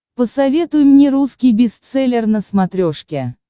посоветуй мне русский бестселлер на смотрешке